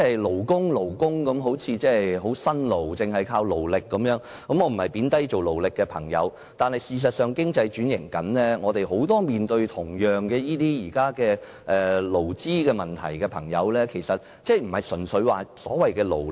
"勞工"一詞，聽來好像很辛勞，只是靠勞力，我並非貶低從事勞力工作的朋友，但事實上，經濟正在轉型，很多同樣面對勞資問題的朋友並非純粹單靠所謂勞力。